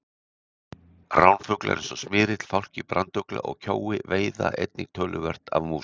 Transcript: Ránfuglar eins og smyrill, fálki, brandugla og kjói veiða einnig töluvert af músum.